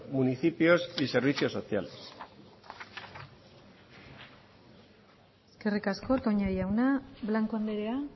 municipios y servicios sociales eskerrik asko toña jauna blanco andrea